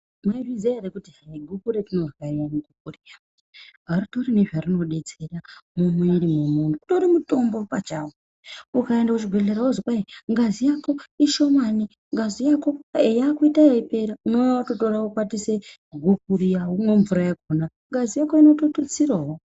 Munozviziya ere kuti guku rarinorya riyana ritori nezvarinodetsera mumuiri momuntu utori mutombo pachawo. Ukaenda kuchibhehlera wozi kai ngazi yako ishomane ,ngazi yako yakuite yeipera ,unouya wokwatise guku riya mvura yakona womwa ,ngazi yako inototutsirawo